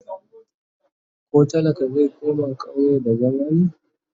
koh talaka zai koma ƙauye da zama be?